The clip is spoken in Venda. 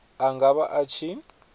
a nga vha a tshi